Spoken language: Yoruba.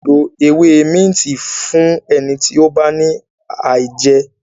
a lẹ ló ewé Minti Fún ẹni tí o bá ní aijẹ.